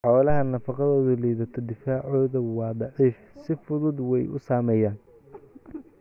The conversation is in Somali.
Xoolaha nafaqadoodu liidato difaacooda waa daciif si fududna way u saameeyaan.